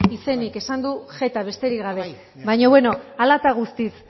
izenik esan du jeta besterik gabe a bai baina beno hala eta guztiz